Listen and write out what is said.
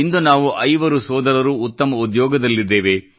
ಇಂದು ನಾವು ಐವರು ಸೋದರರು ಉತ್ತಮ ಉದ್ಯೋಗದಲ್ಲಿದ್ದೇವೆ